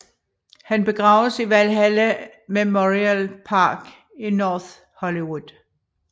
Han begraves i Valhalla Memorial Park i North Hollywood